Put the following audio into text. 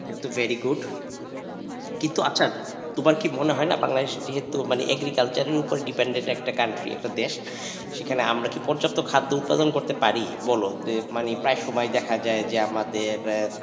এইতো very good কিন্তু আচ্ছা তোমার কি মনে হয় না বাংলাদেশের যেহেতু মানে agriculture উপর dependent একটা country একটা দেশ সেখানে কি আমরা পর্যাপ্ত খাদ্য উৎপাদন করতে পারি বল যে প্রায় সময় দেখা যায় যে আমাদের,